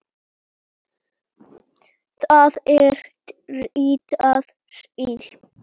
Það er ritað Síle.